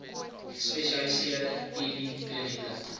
gespesialiseerde tb klinieke